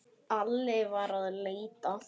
Alli var að leita.